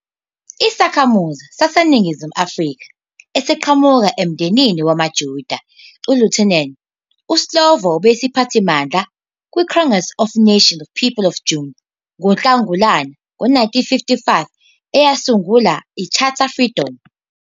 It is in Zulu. Isakhamuzi saseNingizimu Afrika esiqhamuka emndenini wamaJuda-Lithuanian, iSlovo besiyisiphathimandla kwiCongress of Nations People of June ngoNhlangulani 1955 eyasungula i- Charter Freedom.